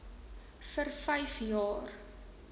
vir vyf jaar